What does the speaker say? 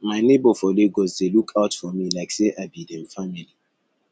my neighbor for lagos dey look out for me like say i be dem family